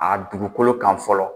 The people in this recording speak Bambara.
A dugukolo kan fɔlɔ